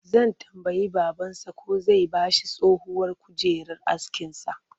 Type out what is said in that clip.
Zai tambayi babansa ko zai ba shi tsohuwar kujerar askinsa